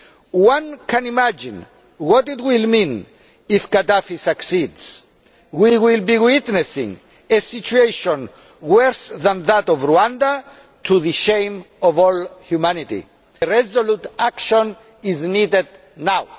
We can imagine what it will mean if Gaddafi succeeds. We will be witnessing a situation worse than that of Rwanda, to the shame of all humanity. Resolute action is needed now.